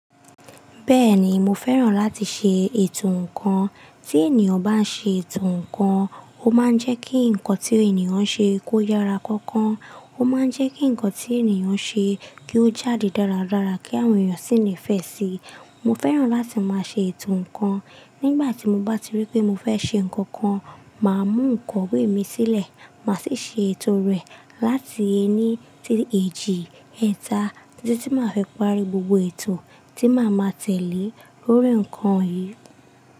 Bẹ́ẹ̀ni mo fẹ́ràn láti ṣe ètò ǹkan, tí ènìyàn bá ń ṣe ètò ǹkan, ó máa ń jẹ́ kí ǹkan tí ènìyàn ń ṣe kó yára kọkọ́, ó máa ń jẹ́ kí ǹkan tí ènìyàn ń ṣe kí ó jáde dáradára kí àwọn ènìyàn sì nifẹ́ sì í. Mo fẹ́ràn láti máa ṣe ètò ǹkan, nígbà tí mo bá rí pé mo fẹ́ ṣe ǹkan kan, màá mú ikowé mi sílẹ̀, màá sì ṣe ètò rẹ̀ láti ẹni sí èjì, ẹta títí tí màá fi parí gbogbo ètò tí màá ma tẹ̀lé lórí ǹkan yìí.